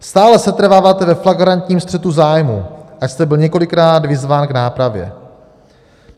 Stále setrváváte ve flagrantním střetu zájmů, ač jste byl několikrát vyzván k nápravě.